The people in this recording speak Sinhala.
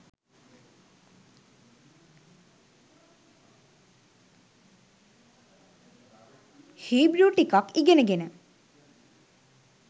හීබෘ ටිකක් ඉගෙනගෙන